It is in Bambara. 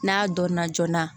N'a dɔnna joona